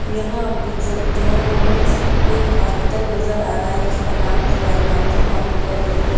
यहां आप देख सकते हैं हमें इस एक हॉस्पिटल नजर आ रहा है जिसका नाम है सवाई मानसिंह हॉस्पिटल है ये।